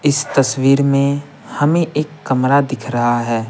इस तस्वीर में हमें एक कमरा दिख रहा है।